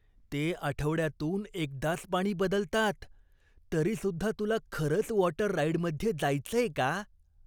ते आठवड्यातून एकदाच पाणी बदलतात तरीसुद्धा तुला खरंच वॉटर राईडमध्ये जायचंय का?